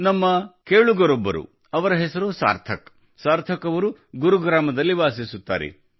ನಮ್ಮ ಕೇಳುಗರೊಬ್ಬರು ಅವರ ಹೆಸರು ಸಾರ್ಥಕ್ ಸಾರ್ಥಕ್ ಅವರು ಗುರು ಗ್ರಾಮದಲ್ಲಿ ವಾಸಿಸುತ್ತಾರೆ